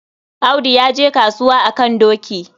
Audu ya je kasuwa a kan doki.